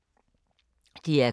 DR K